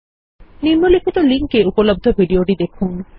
নিম্নলিখিত লিঙ্কে উপলব্ধ ভিডিও টি দেখুন